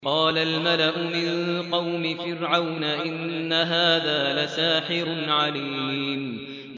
قَالَ الْمَلَأُ مِن قَوْمِ فِرْعَوْنَ إِنَّ هَٰذَا لَسَاحِرٌ عَلِيمٌ